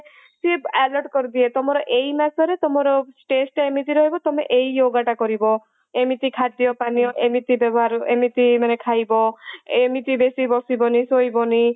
ସିଏ alert କରିଦିଏ ତମର ଏଇ ମାସରେ ତମର stage ଟା ଏମିତି ରହିବ ତମେ ଏଇ yoga ଟା କରିବ ଏମିତି ଖାଦ୍ୟପାନୀୟ ଏମିତି ବ୍ୟବହାର ଏମିତି ମାନେ ଏମିତି ଖାଇବ ଏମିତି ବସିବନି ଶୋଇବନି